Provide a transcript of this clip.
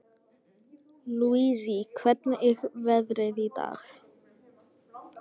Lousie, hvernig er veðrið í dag?